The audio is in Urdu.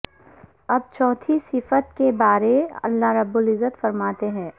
اب چوتھی صفت کے بارے اللہ رب العزت فرماتے ہیں